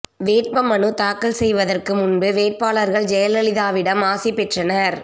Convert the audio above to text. வேட்பு மனு தாக்கல் செய்வதற்கு முன்பு வேட்பாளர்கள் ஜெயலலிதாவிடம் ஆசி பெற்றனர்